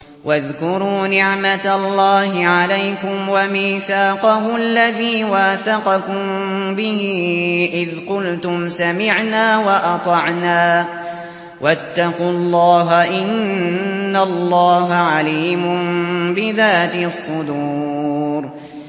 وَاذْكُرُوا نِعْمَةَ اللَّهِ عَلَيْكُمْ وَمِيثَاقَهُ الَّذِي وَاثَقَكُم بِهِ إِذْ قُلْتُمْ سَمِعْنَا وَأَطَعْنَا ۖ وَاتَّقُوا اللَّهَ ۚ إِنَّ اللَّهَ عَلِيمٌ بِذَاتِ الصُّدُورِ